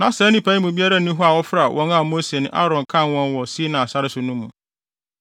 Na saa nnipa yi mu biara nni hɔ a ɔfra wɔn a Mose ne Aaron kan wɔn wɔ Sinai sare so no mu.